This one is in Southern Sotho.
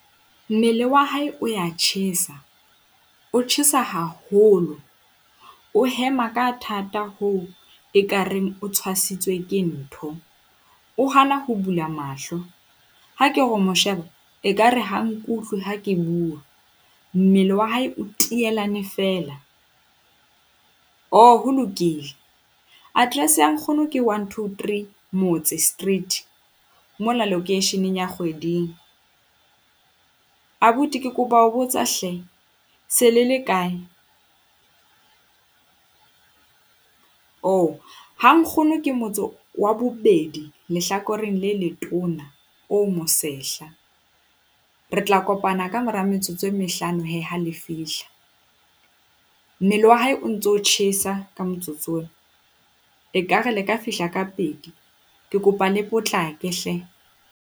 Mmele wa hae o ya tjhesa, o tjhesa haholo. O hema ka thata ho ekareng o tshwatshitswe ke ntho. O hana ho bula mahlo, ha ke ho mo sheba ekare ha nkutlwe ha ke bua. Mmele wa hae o tielane feela. Oh, ho lokile. Address ya nkgono ke one, two, three, Motse Street. Mona loekeisheneng la Kgweding. Abuti ke kopa ho botsa hle, se le le kae? Oh, ha nkgono ke motse wa bobedi lehlakoreng le letona, o mo sehla. Re tla kopana ka mora metsotso e mehlano he ha le fihla. Mmele wa hae o ntso tjhesa ka motsotso ona. Ekare le ka fihla ka pedi. Ke kopa le potlake hle.